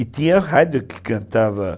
E tinha a rádio que cantava